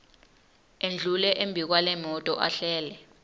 endlule embikwalemoto ehlele